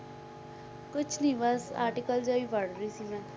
ਕੁਛ ਨੀ ਬਸ article ਜਿਹਾ ਹੀ ਪੜ੍ਹ ਰਹੀ ਸੀ ਮੈਂ